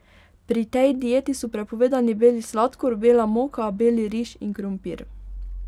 Pri tej dieti so prepovedani beli sladkor, bela moka, beli riž in krompir.